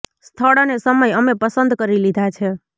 સ્થળ અને સમય અમે પસંદ કરી લીધા છે